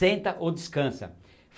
Senta ou descansa.